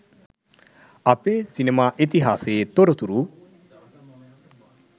අපේ සිනමා ඉතිහාසයේ තොරතුරු